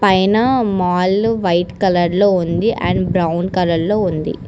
పైనా మాలు white colour లో ఉంది అండ్ బ్రౌన్ కలర్ లో ఉంది.